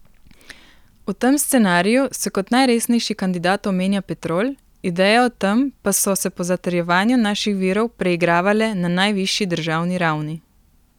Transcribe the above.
V tem scenariju se kot najresnejši kandidat omenja Petrol, ideje o tem pa so se po zatrjevanju naših virov preigravale na najvišji državni ravni.